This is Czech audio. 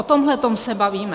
O tomto se bavíme.